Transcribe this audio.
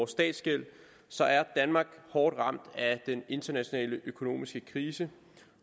statsgæld så er danmark hårdt ramt af den internationale økonomiske krise